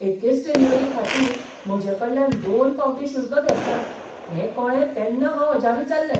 एकेच डिलिव्हरी खातीर म्हजेकडल्यान दोन फावटीं शुल्क घेतलां हें कळ्ळें तेन्ना हांव अजापीत जाल्लें!